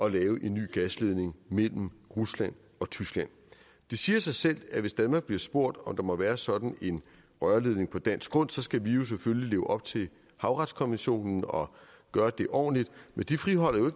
at lave en ny gasledning mellem rusland og tyskland det siger sig selv at hvis danmark bliver spurgt om der må være sådan en rørledning på dansk grund skal vi selvfølgelig leve op til havretskonventionen og gøre det ordentligt men det friholder jo